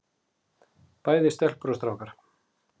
Bæði stelpur og strákar.